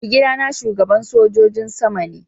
Maigida na shugaban sojin sama ne.